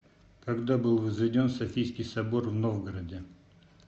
когда был возведен софийский собор в новгороде